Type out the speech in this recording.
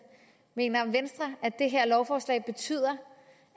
mener venstre at det her lovforslag betyder